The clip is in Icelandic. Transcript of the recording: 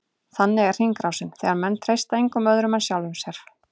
Þannig er hringrásin, þegar menn treysta engum öðrum en sjálfum sér.